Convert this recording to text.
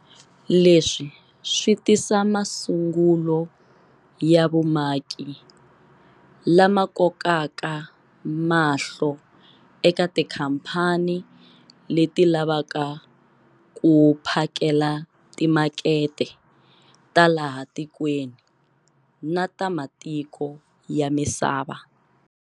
Leswi swi tisa masungulo ya vumaki lama kokaka mahlo eka tikhamphani leti lavaka ku phakela timakete ta laha tikweni na ta matiko ya misava.